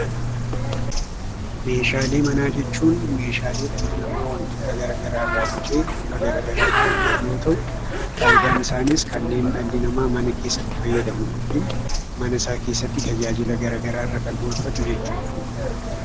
Meeshaalee manaa jechuun meeshaalee dhalli namaa wantoota gara garaa irraa bocee bifa gara garaatiin hojjetu yoo ta'u, faayidaan isaanis kanneen dhalli namaa mana keessatti fayyadamu yookiin mana isaa keessatti tajaajila gara garaa irra kan oolfatu jechuudha.